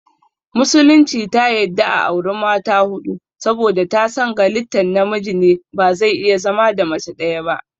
Musulunci ta yadda a auri mata huɗu saboda ta san galittan namiji ne bazai iya zama da mace ɗaya ba